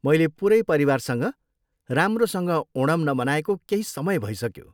मैले पुरै परिवारसँग राम्रोसँग ओणम नमनाएको केही समय भइसक्यो।